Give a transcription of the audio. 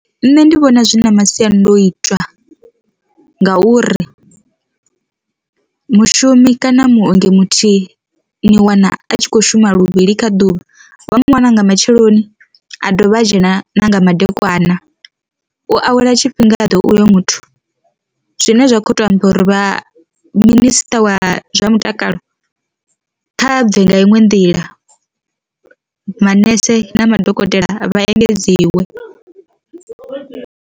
Nṋe ndi vhona zwi na masiandoitwa ngauri, mushumi kana muongi muthihi ni wana a tshi kho shuma luvhili kha ḓuvha vha mu wana nga matsheloni a dovha a dzhena na nga madekwana u awela tshifhinga uyo muthu. Zwine zwa kho to amba uri vha minisiṱa wa zwa mutakalo kha bve nga iṅwe nḓila manese na madokotela vha engedziwe.